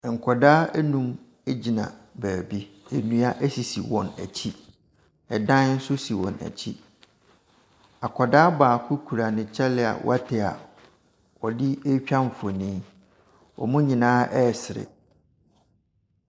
Nkwadaa nnum gyina baabi. Nnua sisi wɔn akyi. Dan nso si wɔn akyi. Akwadaa baako kura ne kyale a wate a aɔde retwa mfonin. Wɔn nyinaa resere.